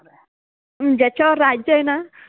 अम्म ज्याच्यावर राज्य आहे न